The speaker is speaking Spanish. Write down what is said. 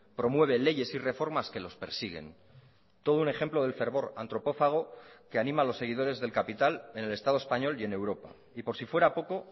promueve leyes y reformas que los persiguen todo un ejemplo del fervor antropófago que anima a los seguidores del capital en el estado español y en europa y por si fuera poco